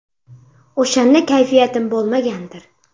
O‘shanda kayfiyatim bo‘lmagandir.